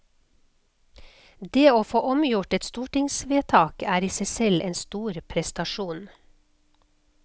Det å få omgjort et stortingsvedtak er i seg selv en stor prestasjon.